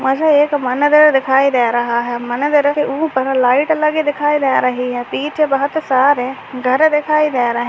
मुझे एक मंदिर दिखाई दे रहा है मंदिर के ऊपर लाइट लगी दिखाई दे रही है पीछे बहुत सारे घर दिखाई दे रहे --